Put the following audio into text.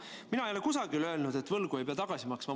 Mina ei ole kusagil öelnud, et võlgu ei pea tagasi maksma.